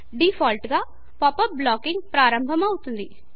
default గా pop up blocking ప్రారంభమవుతుంది